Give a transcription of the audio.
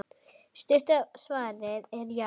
Stutta svarið er já!